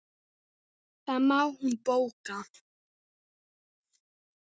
Það má hún bóka.